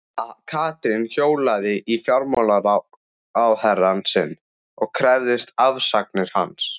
Að Katrín hjólaði í fjármálaráðherrann sinn og krefðist afsagnar hans?